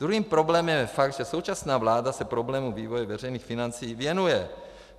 Druhým problémem je fakt, že současná vláda se problému vývoje veřejných financí věnuje.